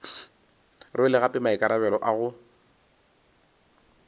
rwele gape maikarabelo a go